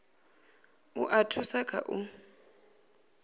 u a thusa kha u